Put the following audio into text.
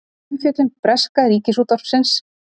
Umfjöllun breska ríkisútvarpsins